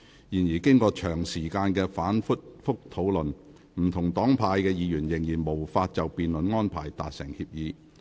然而，經長時間的反覆討論，不同黨派的議員仍然無法就辯論安排達成協議。